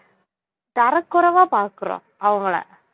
தரக்குறைவா பாக்குறோம் அவங்களை